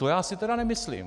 To já si tedy nemyslím.